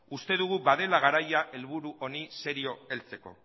uste dugu badela garaia helburu honi serio heltzeko